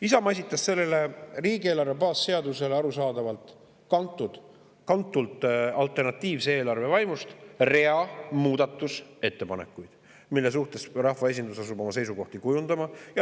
Isamaa esitas sellele riigieelarve baasseadusele – arusaadavalt alternatiivse eelarve vaimust kantuna – rea muudatusettepanekuid, mille suhtes rahvaesindus asub oma seisukohti kujundama.